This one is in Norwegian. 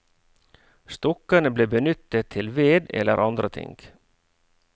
Stokkene ble benyttet til ved eller andre ting.